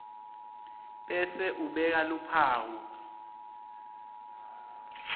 bese ubeka luphawu